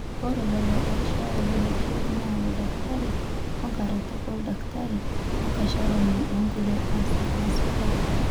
ore lelo ooishooyo lelo keek naa oldakitari, enkaretoni oldakitari, enkashorani orkulie aasak lesipitali